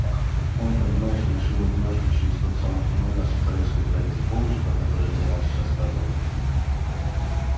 он понимаешь ли решил в одиночку через тот самый туннель на сухаревской пройти помнишь про который я тебе раньше рассказывал